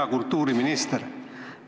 Hea kultuuriminister!